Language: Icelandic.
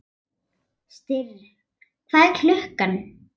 Styrr, hvað er klukkan?